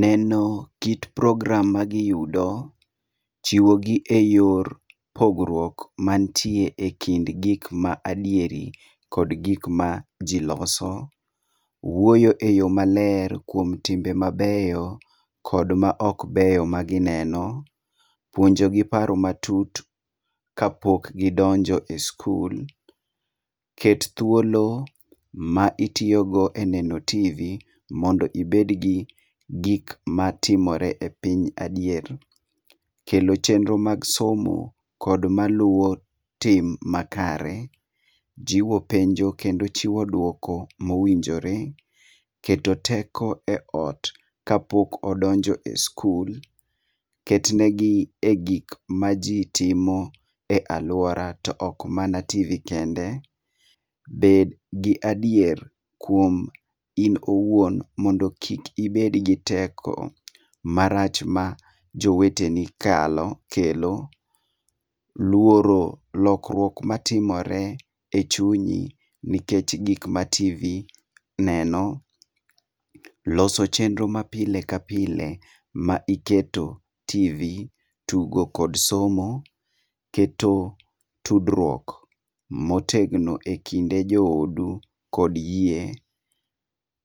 Neno kit program ma giyudo, chiwogi eyor pogruok man tie ekind gik ma adieri kod gik ma ji loso, wuoyo eyo maler kuom timbe mabeyo kod maok beyo magineno. Puonjogi paro matut kapok gidonjo e skul. Ket thuolo ma itiyogo e neno tv mondo ibed gi gik matimore e piny adier. Kelo chenro mag somo kod maluwo tim makare, jiwo penjo kendo chiwo duoko mowinjore, keto teko eot kapok odonjo e skul, ket negi e gik maji timo e aluora to ok mana tv kende, bed gi adier kuom in iwuon mondo kik ibed gi teko marach ma joweteni kalo kelo, luoro lokruok matimore echunyi nikech gik ma tv neno, loso chenro ma pile ka pile ma iketo tv, tugo kod somo, keto tudruok motegno e kinde joodu kod yie.